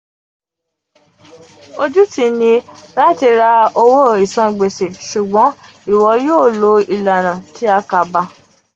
ojuti ni lati ra owo isangbese ṣugbọn iwo yoo lo ilana ti akaba.